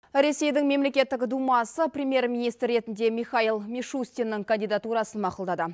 ресейдің мемлекеттік думасы премьер министр ретінде михаил мишустиннің кандидатурасын мақұлдады